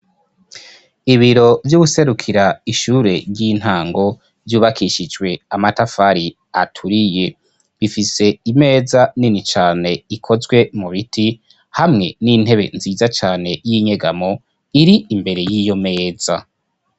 Ibiro vy'uwuserukira ishure ry'intango ryubakishijwe amatafari aturiye bifise imeza nini cane ikozwe mu biti hamwe n'intebe nziza cane y'inyegamo iri imbere y'iyo meza.